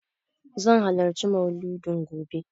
Zan halarci Mauludin gobe.